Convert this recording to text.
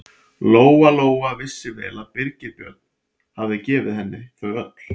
Lóa-Lóa vissi vel að Birgir Björn hafði gefið henni þau öll.